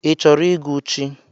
I chọrọ ịgụ chi?